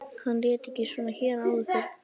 Hann lét ekki svona hér áður fyrr.